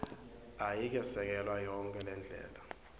ayikesekelwa yonkhe ngendlela